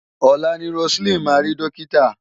Ọ̀la ni Roseline máa rí dọ́kítà.